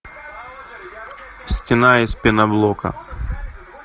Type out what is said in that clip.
стена из пеноблока